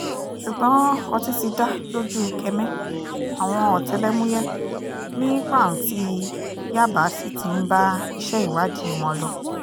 ṣùgbọ́n ọtí ti dá lójú ukeme àwọn ọ̀tẹlẹ̀múyẹ́ ni pàǹtí yaba sì ti ń bá iṣẹ́ ìwádìí wọn lọ